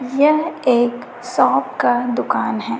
यह एक शॉप का दुकान है।